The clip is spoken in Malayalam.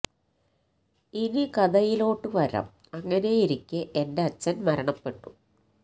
ഇനി കഥയിലോട്ട് വരാം അങ്ങനെ ഇരിക്കേ എന്റെ അച്ചൻ മരണപെട്ടു